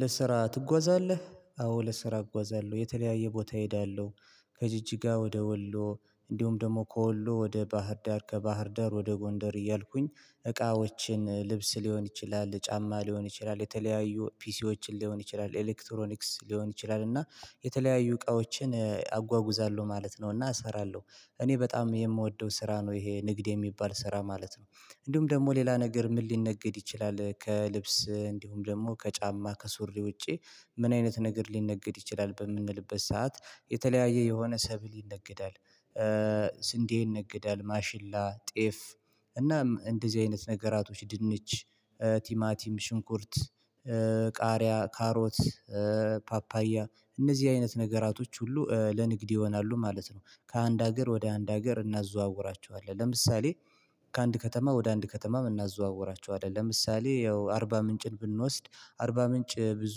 ለስራ ትጓዛለህ አዎ ለስራ እጓዛለሁ የተለያየ ቦታ እሄዳለሁ ከጅጅጋ ወደ ወሎ እንዲሁም ደግሞ ከወሎ ወደ ባህር ዳር ከባህር ዳር ወደ ጎንደር እያልኩኝ እቃዎችን ልብስ ሊሆን ይችላል ጫማ ሊሆን ይችላል የተለያዩ ፒሲዎችን ሊሆን ይችላል ኤሌክትሮኒክስ ሊሆን ይችላል እና የተለያዩ እቃዎችን አጓጉዛለሁ ማለት ነው። እና እሰራለሁ እኔ በጣም የምወደው ስራ ነው ይሄ ንግድ የሚባል ስራ ማለት ነው። እንዲሁም ደግሞ ሌላ ነገር ምን ሊነገድ ይችላል ከልብስ እንዲሁም ደግሞ ከጫማ ከሱሪ ውጪ? ምን አይነት ነገር ሊነገድ ይችላል? በምንልበት ሰዓት የተለያየ የሆነ ሰብል ይነግዳል ስንዴ ይነግዳል ማሽላ ጤፍ እናም እንደዚህ አይነት ነገራቶች ድንች ቲማቲም ሽንኩርት ቃሪያ ካሮት ፓፓያ እነዚህ አይነት ነገራቶች ሁሉ ለንግድ ይሆናሉ ማለት ነው። ከአንድ ሀገር ወደ አንድ ሀገር እናዘዋውራቸዋለን ለምሳሌ። ከአንድ ከተማ ወደ አንድ ከተማ እናዘዋወራቸው ለምሳሌ ያው አርባ ምንጭን ብንወስድ አርባ ምንጭ ብዙ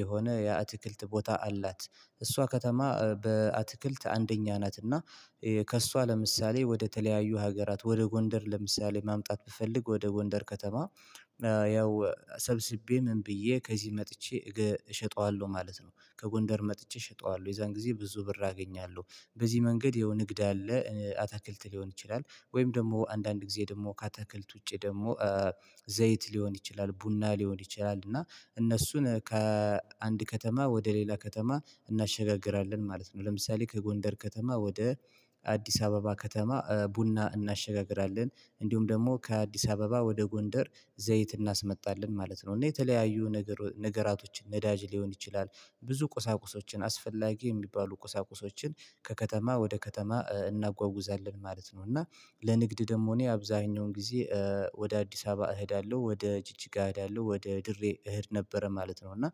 የሆነ የአትክልት ቦታ አላት እሷ ከተማ በአትክልት አንደኛ ናትና። ከእሷ ለምሳሌ ወደ ተለያዩ ሀገራት ወደ ጎንደር ለምሳሌ ማምጣት ብፈልግ ወደ ጎንደር ከተማ ያው ሰብስቤ ምን ብዬ ከዚህ መጥቼ እሸጠዋለሁ ማለት ነው። ከጎንደር መጥቼ እሸጠዋለሁ የዛን ጊዜ ብዙ ብር አገኛለሁ። በዚህ መንገድ ይሀው የንግድ አለ አታክልት ሊሆን ይችላል ወይም ደግሞ አንዳንድ ጊዜ ደግሞ ከአታክልት ውጪ ደግሞ ዘይት ሊሆን ይችላል ቡና ሊሆን ይችላል እና እነሱን ከአንድ ከተማ ወደ ሌላ ከተማ እናሸጋግራለን ማለት ነው። ለምሳሌ ከጎንደር ከተማ ወደ አዲስ አበባ ከተማ ቡና እናሸጋግራለን እንዲሁም ደግሞ ከአዲስ አበባ ወደ ጎንደር ዘይት እናስመጣለን ማለት ነው። እና የተለያዩ ነገር ነገራቶችን ነዳጅ ሊሆን ይችላል ብዙ ቁሳቁሶችን አስፈላጊ የሚባሉ ቁሳቁሶችን ከከተማ ወደ ከተማ እናጓጉዛለን ማለት ነው። እና ለንግድ ደግሞ እኔ አብዛኛውን ጊዜ ወደ አዲስ አበባ እሄዳለሁ ወደ ጅጅጋ እሄዳለሁ ወደ ድሬ እሄድ ነበረ ማለት ነው። እና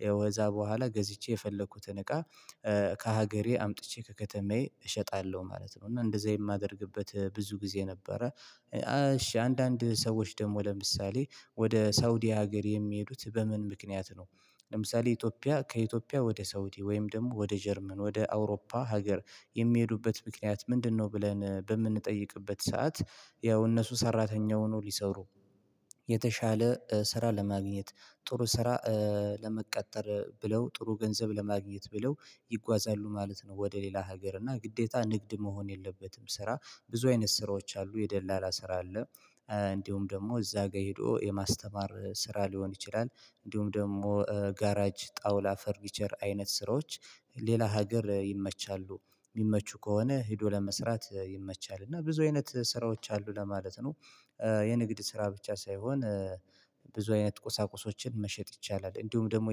በወዛ በኋላ ገዝቼ የፈለኩትን እቃ ከሀገሬ አምጥቼ ከከተማዬ እሸጣለሁ ማለት ነው። እና እንደዛ የማደርግበት ብዙ ጊዜ ነበረ እሺ አንዳንድ ሰዎች ደግሞ ለምሳሌ ወደ ሳውዲ ሀገር የሚሄዱት በምን ምክንያት ነው? ለምሳሌ ኢትዮጵያ ከኢትዮጵያ ወደ ሳውዲ ወይም ደግሞ ወደ ጀርመን ወደ አውሮፓ ሀገር የሚሄዱበት ምክንያት ምንድነው ብለን በምንጠይቅበት ሰዓት ያው እነሱ ሰራተኛ ሆነው ሊሰሩ የተሻለ ስራ ለማግኘት ጥሩ ስራ ለመቀጠር ብለው ጥሩ ገንዘብ ለማግኘት ብለው ይጓዛሉ ማለት ነው። ወደ ሌላ ሀገር እና ግዴታ ንግድ መሆን የለበትም ስራ ብዙ አይነት ስራዎች አሉ የደላላ ስራ አለ። እንዲሁም ደግሞ እዛ ጋር ሄዶ የማስተማር ስራ ሊሆን ይችላል እንዲሁም ደግሞ ጋራጅ ጣውላ ፈርኒቸር አይነት ስራዎች ሌላ ሀገር ይመቻሉ የሚመቹ ከሆነ ሄዶ ለመስራት ይመቻል እና ብዙ አይነት ስራዎች አሉ ለማለት ነው። የንግድ ስራ ብቻ ሳይሆን ብዙ አይነት ቁሳቁሶችን መሸጥ ይቻላል እንዲሁም ደግሞ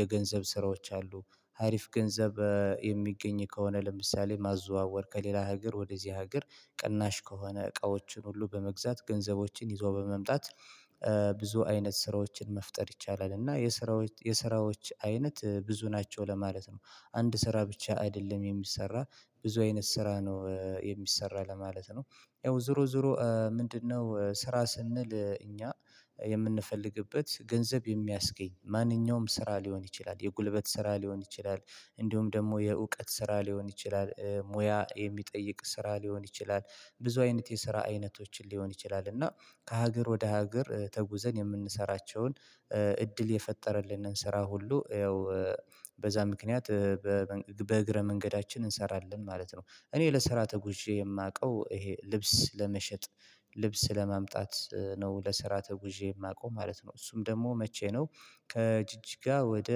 የገንዘብ ስራዎች አሉ። አሪፍ ገንዘብ የሚገኝ ከሆነ ለምሳሌ ማዘዋወር ከሌላ ሀገር ወደዚህ ሀገር ቅናሽ ከሆነ እቃዎችን ሁሉ በመግዛት ገንዘቦችን ይዞ በመምጣት ብዙ አይነት ስራዎችን መፍጠር ይቻላል እና የስራዎች የስራዎች አይነት ብዙ ናቸው ለማለት ነው። አንድ ስራ ብቻ አይደለም የሚሰራ ብዙ አይነት ስራ ነው የሚሰራ ለማለት ነው። ያው ዙሮ ዙሮ ምንድነው ስራ ስንል እኛ የምንፈልግበት ገንዘብ የሚያስገኝ ማንኛውም ስራ ሊሆን ይችላል የጉልበት ስራ ሊሆን ይችላል። እንዲሁም ደግሞ የእውቀት ስራ ሊሆን ይችላል ሙያ የሚጠይቅ ስራ ሊሆን ይችላል። ብዙ አይነት የስራ አይነቶችን ሊሆን ይችላል እና ከሀገር ወደ ሀገር ተጉዘን የምንሰራቸውን እድል የፈጠረልንን ስራ ሁሉ ያው በዛ ምክንያት በእግረ መንገዳችን እንሰራለን ማለት ነው። እኔ ለሰራተ ተጉዤ የማውቀው ይሄ ልብስ ለመሸጥ ልብስ ለማምጣት ነው ለስራ ተጉዤ የማውቀው ማለት ነው። እሱም ደግሞ መቼ ነው? ከጅጅጋ ወደ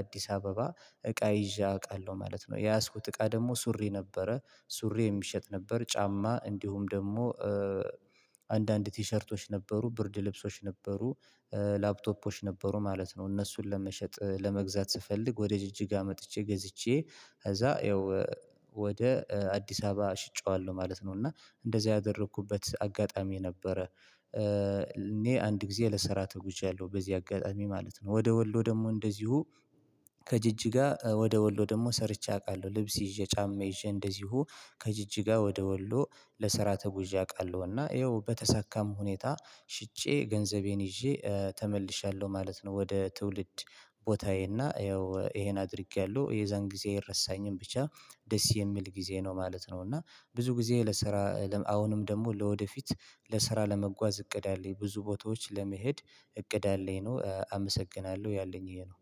አዲስ አበባ እቃ ይዣ አውቃለሁ ማለት ነው። የያዝኩት እቃ ደግሞ ሱሪ ነበረ ሱሪ የሚሸጥ ነበር ጫማ እንዲሁም ደግሞ አንዳንድ ቲሸርቶች ነበሩ ብርድ ልብሶች ነበሩ። ላፕቶፖች ነበሩ ማለት ነው። እነሱን ለመሸጥ ለመግዛት ስፈልግ ወደ ጅጅጋ መጥቼ ገዝቼ ከዛ ያው ወደ አዲስ አበባ ሽጬዋለሁ ማለት ነው። እና እንደዚህ ያደረኩበት አጋጣሚ ነበረ። እኔ አንድ ጊዜ ለሰራ ተጉዣያለሁ በዚህ አጋጣሚ ማለት ነው። ወደ ወሎ ደግሞ እንደዚሁ ከጅጅጋ ወደ ወሎ ደግሞ ሰርቼ አውቃለሁ። ልብስ ይዤ ጫማ ይዤ እንደዚሁ ከጅጅጋ ወደ ወሎ ለሰራ ተጉዤ አውቃለሁና ይኸው በተሳካም ሁኔታ ሽጬ ገንዘቤን ይዤ ተመልሻለሁ ማለት ነው። ወደ ትውልድ ቦታዬ እና ይኸው ይሄን አድርጌያለሁ የዛን ጊዜ አይረሳኝም ብቻ ደስ የሚል ጊዜ ነው ማለት ነው። እና ብዙ ጊዜ ለስራ አሁንም ደግሞ ለወደፊት ለስራ ለመጓዝ እቅድ አለኝ። ብዙ ቦታዎች ለመሄድ እቅድ አለኝ ነው አመሰግናለሁ ያለኝ ይሄ ነው።